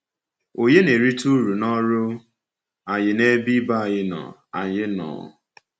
Ọ̀nye na-erite uru n’ọrụ anyị “n’ebe ibe anyị nọ”? anyị nọ”?